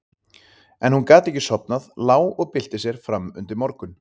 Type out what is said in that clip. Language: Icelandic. En hún gat ekki sofnað, lá og bylti sér fram undir morgun.